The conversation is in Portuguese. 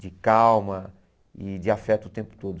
de calma e de afeto o tempo todo.